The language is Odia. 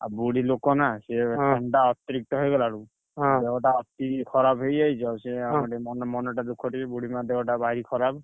ଆଉ ବୁଢୀଲୋକ ନା ସିଏ ଥଣ୍ଡା ଅତିରିକ୍ତ ହେଇଗଲା ବେଳକୁ, ଦେହ ଟା ଅତି ଖରାପ ହେଇଯାଇଛି ଆଉ ସିଏ ଆଉ ଟିକେ ମନ ମନଟା ଦୁଖ ଟିକେ ବୁଢୀମା ଦେହ ଟା ଭାରି ଖରାପ।